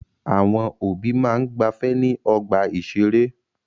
Àwọn òbí máa ń gbafẹ́ ní ọgbà-ìṣeré.